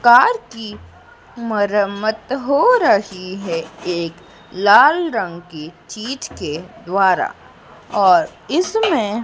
Car की मरम्मत हो रही है एक लाल रंग की चीज के द्वारा और इसमें।